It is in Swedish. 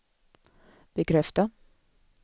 bekräfta